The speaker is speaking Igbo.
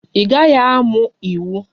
Ị gaghị amụ iwu!